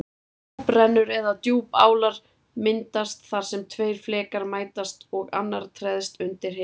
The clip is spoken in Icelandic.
Djúprennur eða djúpálar myndast þar sem tveir flekar mætast og annar treðst undir hinn.